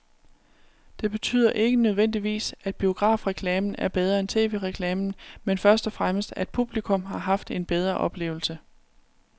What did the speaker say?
Det betyder ikke nødvendigvis, at biografreklamen er bedre end tv-reklamen, men først og fremmest at publikum har haft en bedre oplevelse.